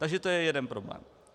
Takže to je jeden problém.